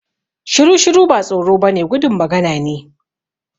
Shiru-shiru ba tsoro ba ne gudun magana ne